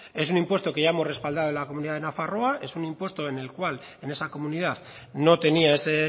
es un impuesto que ya hemos respaldado en la comunidad de nafarroa es un impuesto en el cual en esa comunidad no tenía ese